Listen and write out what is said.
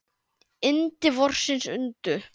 Yndi vorsins undu.